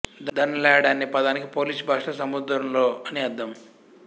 ధన లాడ్ అనే పదానికి పోలిష్ భాషలో సముద్రంలో అని అర్థం